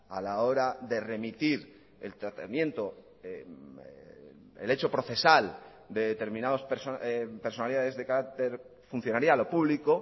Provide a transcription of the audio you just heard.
a la hora de remitir el tratamiento el hecho procesal de determinados personalidades de carácter funcionarial o público